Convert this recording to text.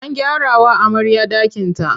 An gyarawa amarya ɗakinta.